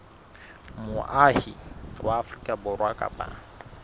moahi wa afrika borwa kapa